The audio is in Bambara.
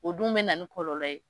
O dun bɛ na ni kɔlɔlɔ ye.